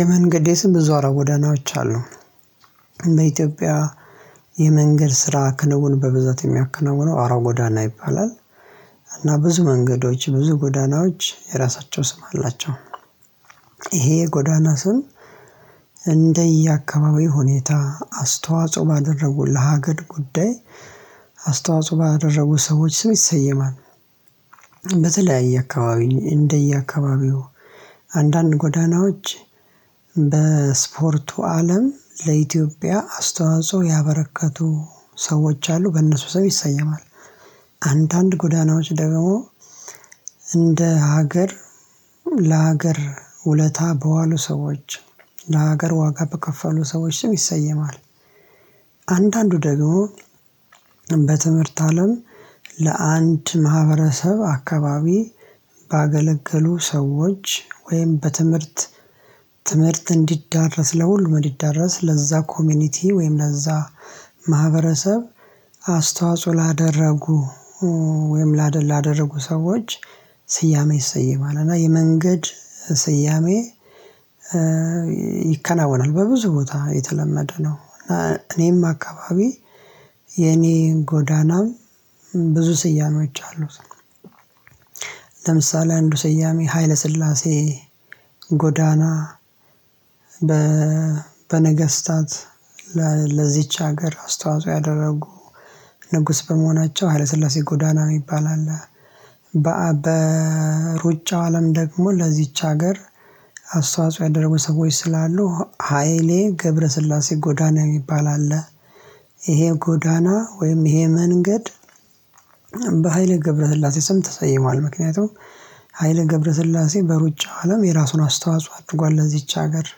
የመንገዴ ስም እዛው አውራጎዳናዎች አሉ። በኢትዮጵያ የመንገድ ስራ ክንውን በብዛት የሚያከናውነው አውራ ጎዳና ይባላል። እና ብዙ መንገዶች ብዙ ጎዳናዎች የራሳቸው ስም አላቸው። ይሄ ጎዳና ስም እንደየ አካባቢው ሁኔታ አስተዋጽኦ ባደረጉ ለሀገር ጉዳይ አስተዋጽኦ ባደረጉ ሰዎች ስም ይሰየማል። በተለያየ አካባቢ እንደየ አካባቢው አንዳንድ ጎዳናዎች በስፖርቱ አለም ለኢትዮጵያ አስተዋጽኦ ያበረከቱ ሰዎች አሉ በእነሱ ሰው ይሰየማል። አንዳንድ ጎዳናዎች ደግሞ እንደ ሀገር ለሀገር ውለታ በዋሉ ሰዎች ለሀገር ዋጋ በከፈሉ ሰዎች ሰው ይሰየማል። አንዳንዱ ደግሞ በትምህርት አለም ለአንድ ማህበረሰብ አካባቢ ባገለገሉ ሰዎች ወይም በትምህርት ትምህርት እንዲዳረስ ለሁሉም እንዲዳረስ ለዛ ኮሚኒቲ ወይም ለዛ ማህበረሰብ አስተዋጽኦ ላደረጉ ወይም ላደረጉ ሰዎች ስያሜ ይሰየማል እና የመንገድ ስያሜ? ይከናወናል በብዙ ቦታ የተለመደ ነው እኔም አካባቢ የኔን ጎዳናም ብዙ ስያሜዎች አሉት። ለምሳሌ አንዱ ስያሜ ኃይለስላሴ ጎዳና በነገስታት ለዚች ሀገር አስተዋጽኦ ያደረጉ ንጉስ በመሆናቸው ኃይለስላሴ ጎዳና ነው የሚባል አለ። በሩጫው አለም ደግሞ ለዚች ሀገር አስተዋጽኦ ያደረጉ ሰዎች ስላሉ ሃይሌ ገብረስላሴ ጎዳና የሚባል አለ። ይሄ ጎዳና ወይም ይሄ መንገድ በሃይለ ገብረስላሴ ስም ተሰይሟል ምክንያቱም ኃይሌ ገብረስላሴ በሩጫው አለም የራሱን አስተዋጽኦ አድርጓል ለዚች ሀገር።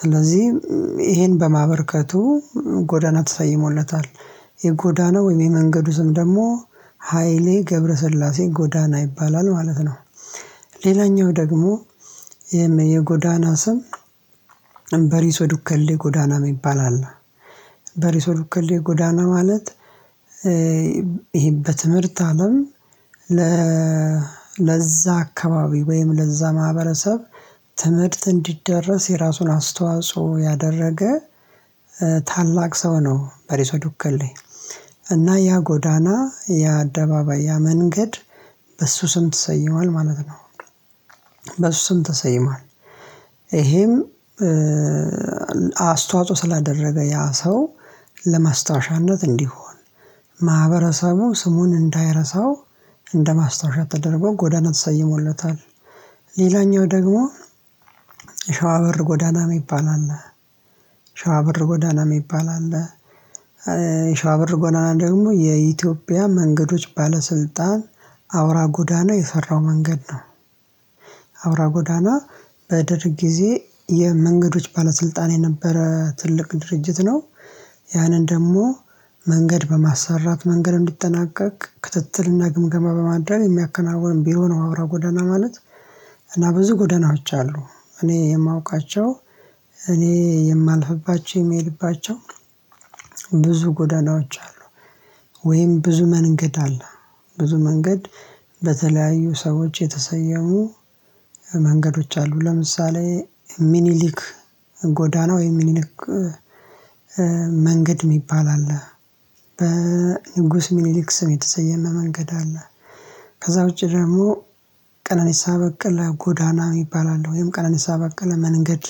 ስለዚህ ይሄን በማበርከቱ ጎዳና ተሰይሞለታል የጎዳና ወይም የመንገዱ ስም ደግሞ ሃይሌ ገብረሰላሴ ጎዳና ይባላል ማለት ነው። ሌላኛው ደግሞ የጎዳና ስም በሪሶ ዱከሌ ጎዳና ይባላል በሪስ ዱከሌ ጎዳና ማለት ይሄ በትምህርት አለም ለዛ አካባቢ ወይም ለዛ ማህበረሰብ ትምህርት እንዲደረስ የራሱን አስተዋጽኦ ያደረገ ታላቅ ሰው ነው። በሬሶ ዱከሌ እና ያ ጎዳና ያ አደባባይ ያ መንገድ በሱ ስም ተሰይሟል ማለት ነው። በሱ ስም ተሰይሟል ይሄም አስተዋጽኦ ስላደረገ ያ ሰው ለማስታወሻነት እንዲሆን ማህበረሰቡ ስሙን እንዳይረሳው እንደማስታወሻው ተደርጎ ጎዳና ተሰይሞለታ። ሌላኛው ደግሞ ሸዋ በር ጎዳና የሚባል አለ ሸዋ በር ጎዳና የሚባል አለ ሸዋ በር ጎዳና ደግሞ የኢትዮጵያ መንገዶች ባለስልጣን አውራ ጎዳና የፈራው መንገድ ነው አውራ ጎዳና በደርግ ጊዜ የመንገዶች ባለስልጣን የነበረ ትልቅ ድርጅት ነው ያንን ደግሞ መንገድ በማሰራት መንገ፣ እንዲጠናቀቅ ክትትል እና፣ ግምገማ በማድረግ የሚያከናውን ቢሮ ነው። አውራ ጎዳና ማለት እና በዚህ ጎዳናዎች አሉ እኔ የማውቃቸው እኔ የማልፍባቸው የሚሄድባቸው ብዙ ጎዳናዎች አሉ። ወይም ብዙ መንገድ አለ ብዙ መንገድ በተለያዩ ሰዎች የተሰየሙ። መንገዶች አሉ ለምሳሌ ሚኒሊክ ጎዳና ወይም ሚኒሊክ መንገድ የሚባል አለ። በንጉስ ሚኒሊክ ስም የተሰየመ መንገድ አለ። ከዛ ውጪ ደግሞ ቀነኒሳ በቀለ ጎዳና ይባላል ወይም ቀናንሳ በቀለ መንገድ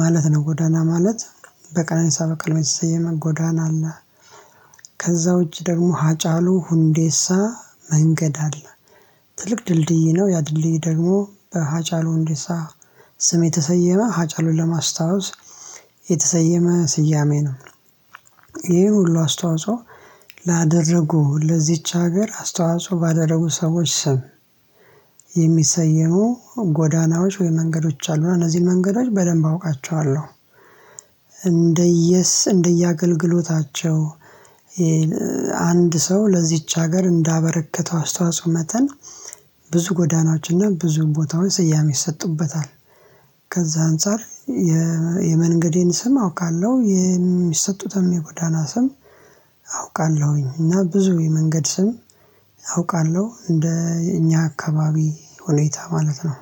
ማለት ነው ጎዳና ማለት በቀነንሳ በቀለ የተሰየመ ጎዳና አለ። ከዛ ውጪ ደግሞ ሀጫሉ ሁንዴሳ መንገድ አለ። ትልቅ ድልድይ ነው ያድልይ ደግሞ በሀጫሉ ሁንዴሳ ስም የተሰየመ ሀጫሉን ለማስታወስ የተሰየመ ስያሜ ነው። ይሄ ሁሉ አስተዋጽኦ ላደረጉ ለዚች ሀገር አስተዋጽኦ ባደረጉ ሰዎች ስም የሚሰየሙ ጎዳናዎች ወይ መንገዶች አሉ እነዚህ መንገዶች በደንብ አውቃቸዋለ። እንደየስ እንደየ አገልግሎታቸው አንድ ሰው ለዚች ሀገር እንዳበረከተው አስተዋጽኦ መጠን ብዙ ጎዳናዎችን ብዙ ቦታውን ስያሜ ይሰጡበታል። ከዛ አንፃር የመንገዴን ስም አውቃለሁ። የሚሰጡትን የጎዳና ስም አውቃለሁኝ። እና ብዙ የመንገድ ስም አውቃለሁ። እንደ እኛ አካባቢ ሁኔታ ማለት ነው።